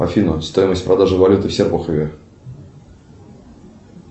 афина стоимость продажи валюты в серпухове